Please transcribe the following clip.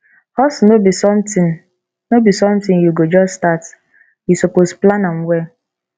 hustle no be sometin no be sometin you go just start you suppose plan am well